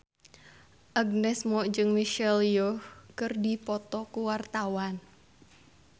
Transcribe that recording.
Agnes Mo jeung Michelle Yeoh keur dipoto ku wartawan